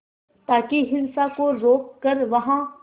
ताकि हिंसा को रोक कर वहां